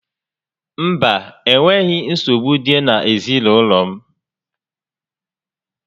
Mba, enweghị nsogbu dị n'ezinaụlọ m